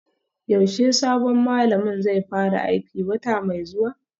Yaushe sabon malamin zai fara aiki, wata mai zuwa?